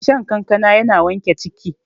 shan kankana yana sa wanke ciki